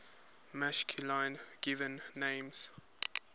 masculine given names